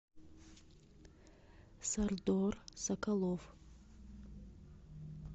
сальдор соколов